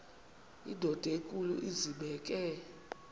indod enkulu izibeke